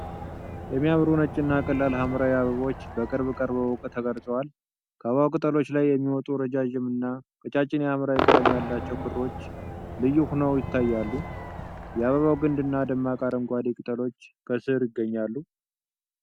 የሚያምሩ ነጭ እና ቀላል ሐምራዊ አበቦች በቅርብ ቀርበው ተቀርጸዋል። ከአበባው ቅጠሎች ላይ የሚወጡ ረዣዥም እና ቀጫጭን የሐምራዊ ቀለም ያላቸው ክሮች (stamens) ልዩ ሆነው ይታያሉ። የአበባው ግንድ እና ደማቅ አረንጓዴ ቅጠሎች ከስር ይገኛሉ።